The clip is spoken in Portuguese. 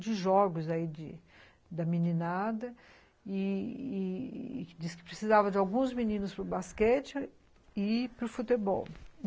de jogos aí, da meninada, e e disse que precisava de alguns meninos para o basquete e para o futebol.